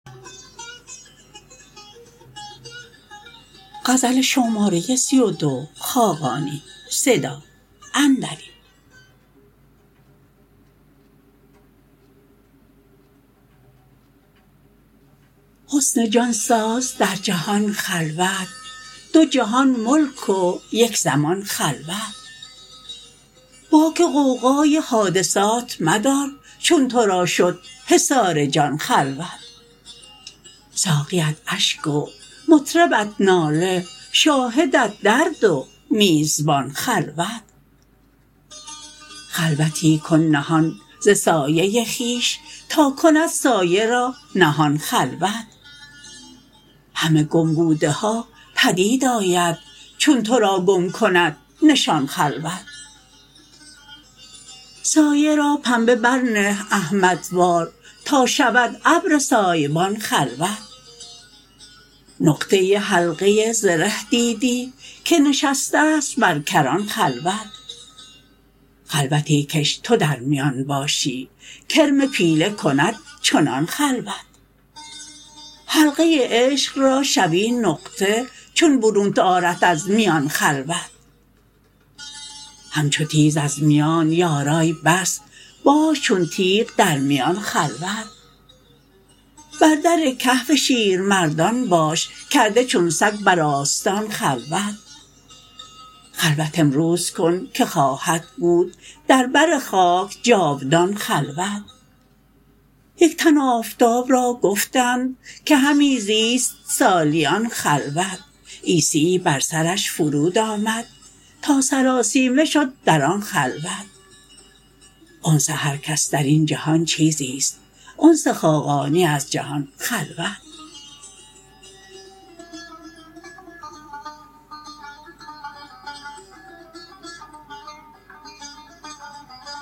حصن جان ساز در جهان خلوت دو جهان ملک و یک زمان خلوت باک غوغای حادثات مدار چون تو را شد حصار جان خلوت ساقیت اشک و مطربت ناله شاهدت درد و میزبان خلوت خلوتی کن نهان ز سایه خویش تا کند سایه را نهان خلوت همه گم بوده ها پدید آید چون تو را گم کند نشان خلوت سایه را پنبه برنه احمدوار تا شود ابر سایبان خلوت نقطه حلقه زره دیدی که نشسسته است بر کران خلوت خلوتی کش تو در میان باشی کرم پیله کند چنان خلوت حلقه عشق را شوی نقطه چون برونت آرد از میان خلوت همچو تیر از میان یاران بس باش چون تیغ در میان خلوت بر در کهف شیرمردان باش کرده چون سگ بر آستان خلوت خلوت امروز کن که خواهد بود دربر خاک جاودان خلوت یک تن آفتاب را گفتند که همی زیست سالیان خلوت عیسیی بر سرش فرود آمد تا سراسیمه شد در آن خلوت انس هرکس در این جهان چیزی است انس خاقانی از جهان خلوت